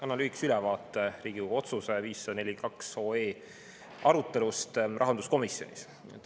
Annan lühikese ülevaate Riigikogu otsuse 542 arutelu kohta rahanduskomisjonis.